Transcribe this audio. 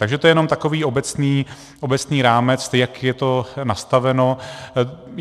Takže to je jenom takový obecný rámec, jak je to nastaveno.